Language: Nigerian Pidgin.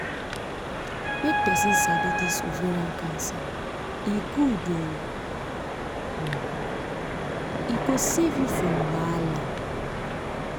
make persin sabi this ovarian cancer e good oooo um e go save you from wahala